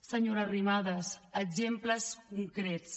senyora arrimadas exemples concrets